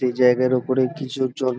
একটি জায়গার উপরে কিছু লোক জন --